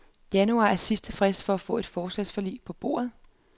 Januar er sidste frist for at få et forligsforslag på bordet.